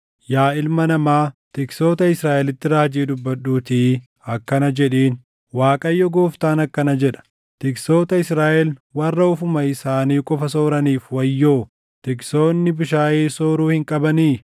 “Yaa ilma namaa, tiksoota Israaʼelitti raajii dubbadhuutii akkana jedhiin: ‘ Waaqayyo Gooftaan akkana jedha: Tiksoota Israaʼel warra ofuma isaanii qofa sooraniif wayyoo! Tiksoonni bushaayee sooruu hin qabanii?